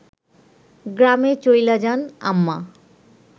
গ্রামে চইলা যান আম্মা